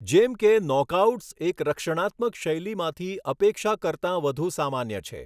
જેમ કે, નોકઆઉટ્સ એક રક્ષણાત્મક શૈલીમાંથી અપેક્ષા કરતા વધુ સામાન્ય છે.